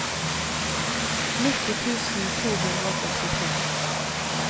nitti tusen to hundre og førtitre